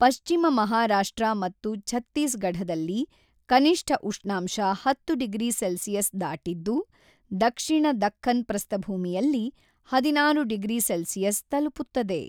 ಪಶ್ಚಿಮ ಮಹಾರಾಷ್ಟ್ರ ಮತ್ತು ಛತ್ತೀಸ್‌ಗಢದಲ್ಲಿ ಕನಿಷ್ಠ ಉಷ್ಣಾಂಶ ಹತ್ತು ಡಿಗ್ರಿ ಸೆಲ್ಸಿಯಸ್ ದಾಟಿದ್ದು, ದಕ್ಷಿಣ ದಖ್ಖನ್‌ ಪ್ರಸ್ಥಭೂಮಿಯಲ್ಲಿ ಹದಿನಾರು ಡಿಗ್ರಿ ಸೆಲ್ಸಿಯಸ್ ತಲುಪುತ್ತದೆ.